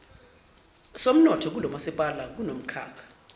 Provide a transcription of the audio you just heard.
somnotho kulomasipala kunomkhakha